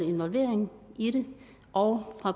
involvering i det og